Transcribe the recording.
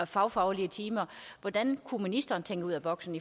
fagfaglige timer hvordan kunne ministeren tænke ud af boksen